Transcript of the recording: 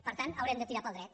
per tant haurem de tirar pel dret